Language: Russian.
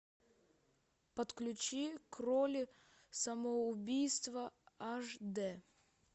подключи к роли самоубийства аш д